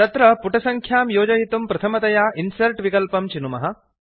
तत्र पुटसङ्ख्यां योजयितुं प्रथमतया इन्सर्ट् विकल्पं चिनुमः